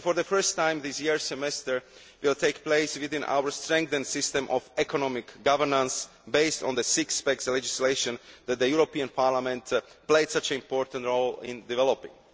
For the first time this year, the semester will take place within our strengthened system of economic governance based on the six pack legislation that the European Parliament played such an important role in developing.